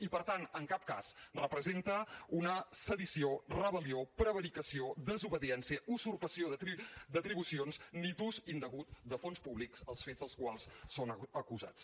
i per tant en cap cas representa una sedició rebel·lió prevaricació desobediència usurpació d’atribucions ni ús indegut de fons públics els fets dels quals són acusats